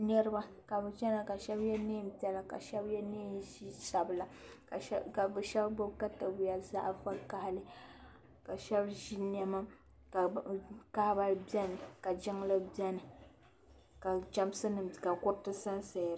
Niriba ka bi chana ka shɛba yɛ niɛn piɛla ka shɛba yɛ niɛn sabila ka bi shɛba gbubi katawiya zaɣa vakahili ka shɛba ʒi niɛma ka kahaba bɛni ka jiŋli bɛni ka chamsi nima ka kuriti sa n saya.